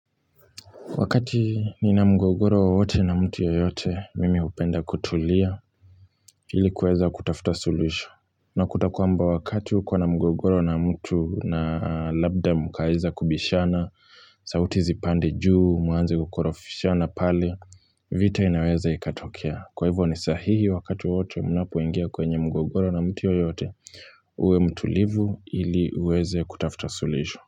Wakati nina mgogoro wowote na mtu yeyote mimi hupenda kutulia ilikuweza kutafuta suluhisho. Nakuta kwamba wakati uko na mgogoro na mtu na labda mkaweza kubishana, sauti zipande juu, mwanze kukorofishana pale, vita inaweza ikatokea. Kwa hivyo ni sahihi wakati wowote mnapoingia kwenye mgogoro na mtu yeyote uwe mtulivu ili uweze kutafuta suluhisho.